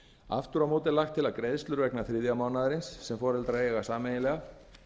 aftur á móti er lagt til að greiðslur vegna þriðja mánaðarins sem foreldrar eiga sameiginlega